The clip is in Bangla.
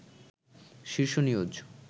শীর্ষ নিউজ